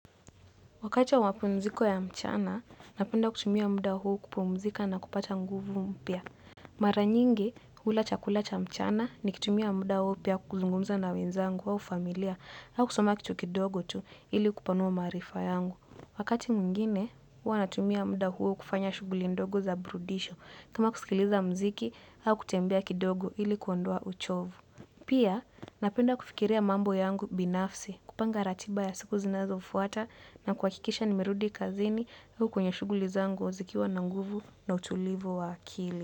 Wakati wa wapumziko ya mchana, napenda kutumia muda huo kupumzika na kupata nguvu mpia. Mara nyingi, hula chakula cha mchana nikutumia muda huo pia kuzungumza na wenzangu au familia au kusoma kitu kidogo tu ili kupanua maarifa yangu. Wakati mwingine, huwa natumia muda huo kufanya shughuli ndogo za burudisho kama kusikiliza muziki au kutembea kidogo ili kuondoa uchovu. Pia napenda kufikiria mambo yangu binafsi, kupanga ratiba ya siku zinazofuata na kuhakikisha nimerudi kazini huko kwenye shuguli zangu zikiwa na nguvu na utulivu wa akili.